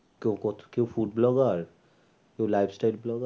তো কত কেউ food blogger র কেউ blogger